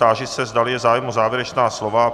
Táži se, zdali je zájem o závěrečná slova.